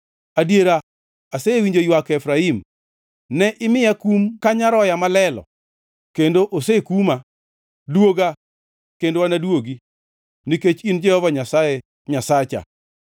“Adiera asewinjo ywak Efraim: Ne imiya kum ka nyaroya ma lelo, kendo osekuma. Duoga, kendo anaduogi, nikech in Jehova Nyasaye Nyasacha.